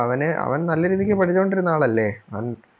അവന് അവൻ നല്ല രീതിക്ക് പഠിച്ചോണ്ട് ഇരുന്ന ആളല്ലേ അവൻ